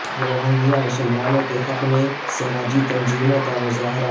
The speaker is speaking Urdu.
روہنگیا مسلمانوں کے حق میں سماجی تنظیموں کا مظاہرہ